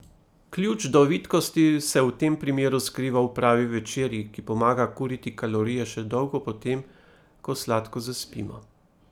Ključ do vitkosti se v tem primeru skriva v pravi večerji, ki pomaga kuriti kalorije še dolgo po tem, ko sladko zaspimo.